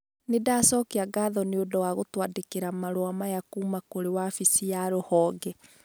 Nĩ ndacokia ngatho nĩ ũndũ wa gũtwandĩkĩra marũa maya kuuma kũrĩ wabici ya rũhonge.